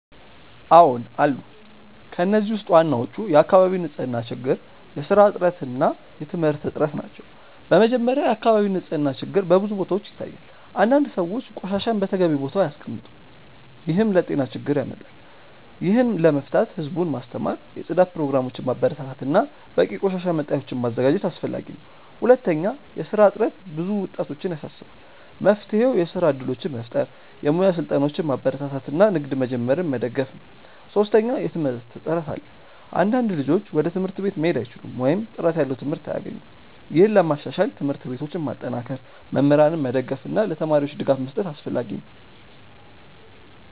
አዎን አሉ። ከእነዚህ ውስጥ ዋናዎቹ የአካባቢ ንፅህና ችግር፣ የስራ እጥረት እና የትምህርት እጥረት ናቸው። በመጀመሪያ፣ የአካባቢ ንፅህና ችግር በብዙ ቦታዎች ይታያል። አንዳንድ ሰዎች ቆሻሻን በተገቢው ቦታ አያስቀምጡም፣ ይህም ለጤና ችግር ያመጣል። ይህን ለመፍታት ህዝቡን ማስተማር፣ የጽዳት ፕሮግራሞችን ማበረታታት እና በቂ የቆሻሻ መጣያዎችን ማዘጋጀት አስፈላጊ ነው። ሁለተኛ፣ የስራ እጥረት ብዙ ወጣቶችን ያሳስባል። መፍትሄው የስራ እድሎችን መፍጠር፣ የሙያ ስልጠናዎችን ማበረታታት እና ንግድ መጀመርን መደገፍ ነው። ሶስተኛ፣ የትምህርት እጥረት አለ። አንዳንድ ልጆች ወደ ትምህርት ቤት መሄድ አይችሉም ወይም ጥራት ያለው ትምህርት አያገኙም። ይህን ለማሻሻል ትምህርት ቤቶችን ማጠናከር፣ መምህራንን መደገፍ እና ለተማሪዎች ድጋፍ መስጠት አስፈላጊ ነው።